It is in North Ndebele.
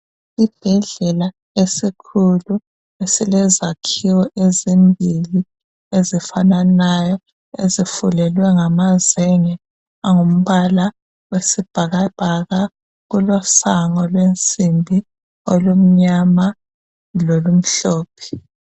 Isibhedlela esikhulu esilezakhiwo ezimbili ezifananayo ezifulelwe ngamazenge angumbala oyisibhakabhaka kulesango lensimbi olumnyama lolumhlophe.